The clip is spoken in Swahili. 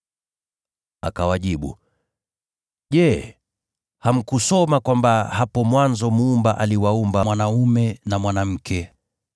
Akawajibu, “Je, hamkusoma kwamba hapo mwanzo Muumba aliwaumba mwanaume na mwanamke,